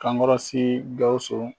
Kankɔrɔ sigi Gawusu